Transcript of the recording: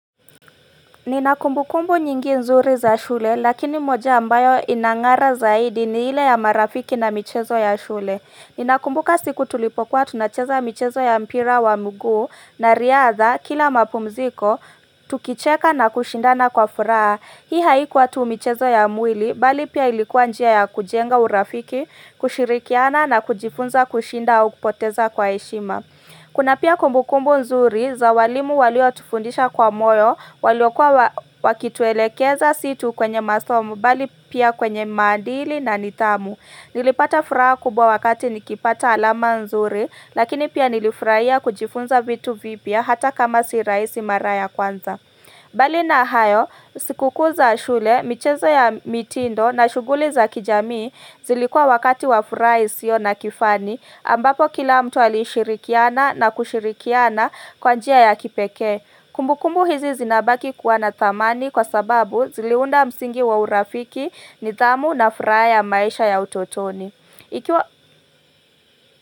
Nina kumbu kumbu nyingi nzuri za shule lakini moja ambayo inangara zaidi ni ile ya marafiki na michezo ya shule Nina kumbuka siku tulipokuwa tunacheza michezo ya mpira wa mguu na riadha kila mapumziko tukicheka na kushindana kwa furaha Hii haikuwa tu michezo ya mwili bali pia ilikuwa njia ya kujenga urafiki kushirikiana na kujifunza kushinda au kupoteza kwa heshima Kuna pia kumbu kumbu nzuri za walimu walio tufundisha kwa moyo walio kwa wakituelekeza si tu kwenye masomu bali pia kwenye madili na nidhamu. Nilipata furaha kubwa wakati nikipata alama nzuri lakini pia nilifurahia kujifunza vitu vipya hata kama si rahisi maraya kwanza. mBali na hayo, siku kuu za shule, michezo ya mitindo na shughuli za kijamii zilikua wakati wa furaha isiyo na kifani ambapo kila mtu alishirikiana na kushirikiana kwa njia ya kipekee. Kumbukumbu hizi zinabaki kuwa na dhamani kwa sababu ziliunda msingi wa urafiki nidhamu na furaha ya maisha ya utotoni.